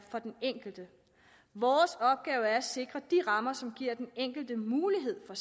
for den enkelte vores opgave er at sikre de rammer som giver den enkelte mulighed for